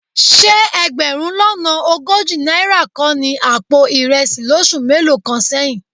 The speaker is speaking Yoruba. Ṣé ẹgbẹ̀rún lọ́nà ogójì náírà kọ́ ni àpò ìrẹsì lóṣù mélòó kan sẹ́yìn?